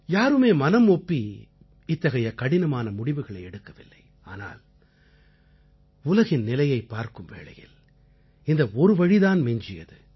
யாருமே மனம் ஒப்பி இத்தகைய கடினமான முடிவுகளை எடுக்கவில்லை ஆனால் உலகின் நிலையைப் பார்க்கும் வேளையில் இந்த ஒரு வழிதான் மிஞ்சியது